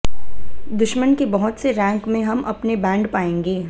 दुश्मन के बहुत से रैंक में हम अपने बैंड पाएंगे